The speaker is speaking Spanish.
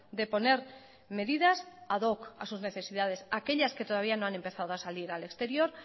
de poner medidas ad hoc a sus necesidades a aquellas que todavía no han empezado a salir al exterior